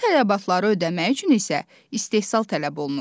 Bu tələbatları ödəmək üçün isə istehsal tələb olunur.